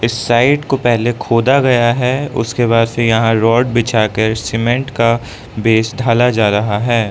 Site को पहले खोदा गया है उसके बाद से यहां रोड बिछा कर सीमेंट का बेस ढाला जा रहा है।